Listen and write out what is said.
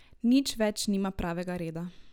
Nič več nima pravega reda.